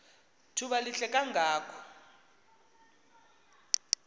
thuba lihle kangako